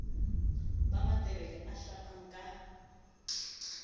ba matebele a hlapang ka